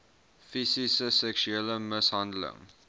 fisiese seksuele mishandeling